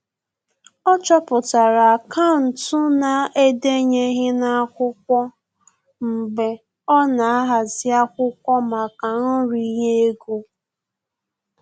Ọ chọpụtara akaụntụ na-edenyeghi n'akwụkwọ mgbe ọ na ahazi akwụkwọ maka nri ye ego